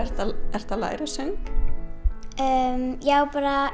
ertu að læra söng já bara